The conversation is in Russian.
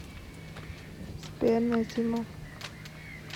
сбер назима